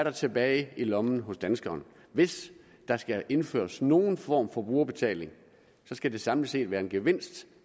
er tilbage i lommen hos danskeren hvis der skal indføres nogen form for brugerbetaling skal det samlet set være en gevinst